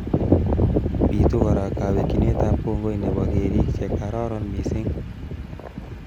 Pitu kora kawekchinetab kongoi nebo kerik che karoron missing